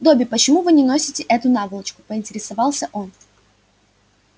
добби почему вы носите эту наволочку поинтересовался он